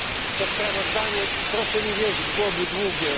To sprawozdanie, proszę mi wierzyć, byłoby długie.